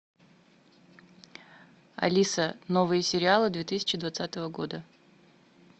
алиса новые сериалы две тысячи двадцатого года